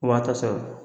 O b'a ta sɔrɔ